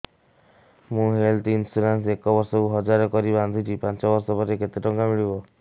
ମୁ health insurance ଏକ ବର୍ଷକୁ ହଜାର କରି ବାନ୍ଧୁଛି ପାଞ୍ଚ ବର୍ଷ ପରେ କେତେ ଟଙ୍କା ମିଳିବ